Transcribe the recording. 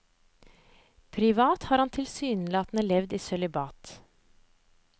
Privat har han tilsynelatende levd i sølibat.